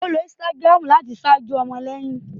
O ló Instagram láti ṣajọ ọmọléyìn